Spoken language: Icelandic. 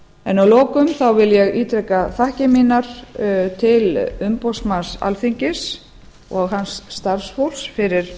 en að lokum þá vil ég ítreka þakkir mínar til umboðsmanns alþingis og hans starfsfólks fyrir